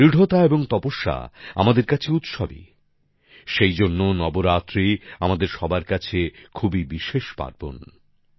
দৃঢ়তা এবং তপস্যা আমাদের কাছে উৎসবই সেইজন্য নবরাত্রি আমাদের সবার কাছে খুবই বিশেষ পার্বণ